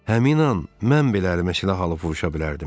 Həmin an mən belə rəhmətlə alovruşa bilərdim.